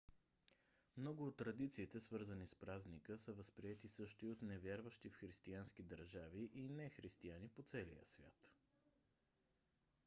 много от традициите свързани с празника са възприети също и от невярващи в християнски държави и нехристияни по целия свят